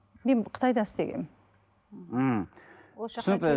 мен қытайда істегенмін ммм түсінікті